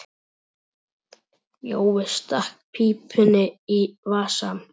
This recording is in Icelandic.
Jói stakk pípunni í vasann.